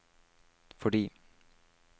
fordi